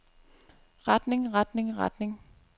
retning retning retning